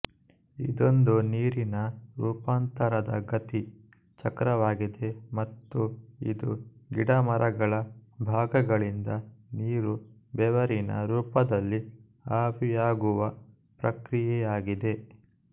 ಇದೊಂದು ನೀರಿನ ರೂಪಾಂತರದ ಗತಿ ಚಕ್ರವಾಗಿದೆ ಮತ್ತು ಇದು ಗಿಡಮರಗಳ ಭಾಗಗಳಿಂದ ನೀರು ಬೆವರಿನ ರೂಪದಲ್ಲಿ ಆವಿಯಾಗುವ ಪ್ರಕ್ರಿಯೆಯಾಗಿದೆ